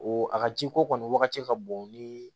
O a ka ji ko kɔni wagati ka bon ni